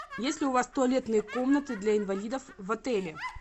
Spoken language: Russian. есть ли у вас туалетные комнаты для инвалидов в отеле